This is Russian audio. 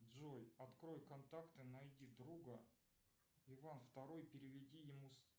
джой открой контакты найди друга иван второй переведи ему